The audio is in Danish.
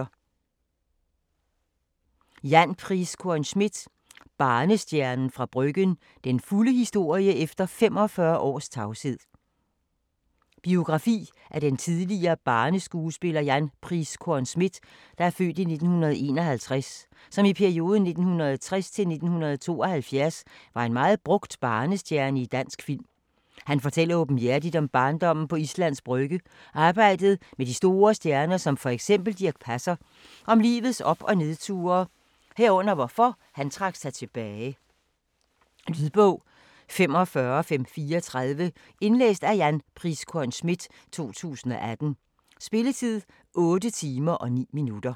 Schmidt, Jan Priiskorn: Barnestjernen fra Bryggen: den fulde historie efter 45 års tavshed Biografi af den tidligere barneskuespiller Jan Priiskorn Schmidt (f. 1951) som i perioden 1960-1972 var en meget brugt barnestjerne i dansk film. Han fortæller åbenhjertigt om barndommen på Islands Brygge, arbejdet med de store stjerner som fx Dirch Passer, og om livets op- og nedture herunder hvorfor han trak sig tilbage. Lydbog 45534 Indlæst af Jan Priiskorn Schmidt, 2018. Spilletid: 8 timer, 9 minutter.